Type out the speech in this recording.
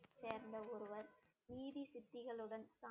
சேர்ந்த ஒருவர்